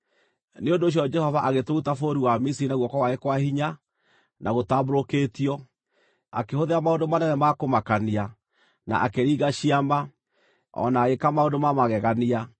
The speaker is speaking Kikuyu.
Nĩ ũndũ ũcio Jehova agĩtũruta bũrũri wa Misiri na guoko gwake kwa hinya, na gũtambũrũkĩtio, akĩhũthĩra maũndũ manene ma kũmakania, na akĩringa ciama, o na agĩĩka maũndũ ma magegania.